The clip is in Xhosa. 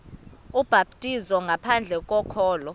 ubhaptizo ngaphandle kokholo